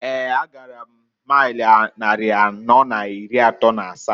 Eeǃ A gara m mail nnari anọọ n'iri atọọ n'asaa.